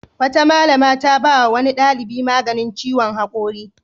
Wata malama ta ba wa wani ɗalibi maganin ciwon haƙori.